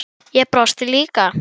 Ég brosti líka.